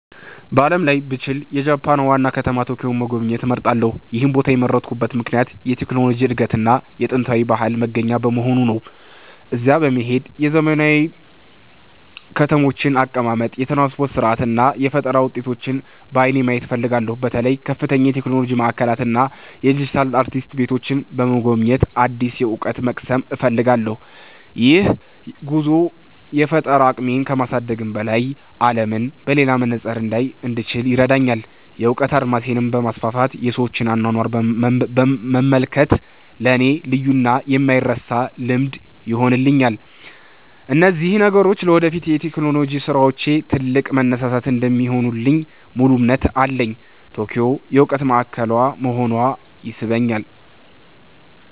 በዓለም ላይ ብችል፣ የጃፓንን ዋና ከተማ ቶኪዮን መጎብኘት እመርጣለሁ። ይህን ቦታ የመረጥኩበት ምክንያት የቴክኖሎጂ እድገትና የጥንታዊ ባህል መገናኛ በመሆኑ ነው። እዚያ በመሄድ የዘመናዊ ከተሞችን አቀማመጥ፣ የትራንስፖርት ሥርዓት እና የፈጠራ ውጤቶችን በዓይኔ ማየት እፈልጋለሁ። በተለይም ከፍተኛ የቴክኖሎጂ ማዕከላትን እና የዲጂታል አርቲስት ቤቶችን በመጎብኘት አዲስ እውቀት መቅሰም እፈልጋለሁ። ይህ ጉዞ የፈጠራ አቅሜን ከማሳደግም በላይ፣ አለምን በሌላ መነጽር እንዳይ እንድችል ይረዳኛል። የእውቀት አድማሴን በማስፋት የሰዎችን አኗኗር መመልከት ለእኔ ልዩና የማይረሳ ልምድ ይሆንልኛል። እነዚህ ነገሮች ለወደፊት የቴክኖሎጂ ስራዎቼ ትልቅ መነሳሳት እንደሚሆኑልኝ ሙሉ እምነት አለኝ። ቶኪዮ የእውቀት ማዕከል መሆኗ ይስበኛል።